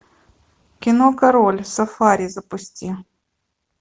кино король сафари запусти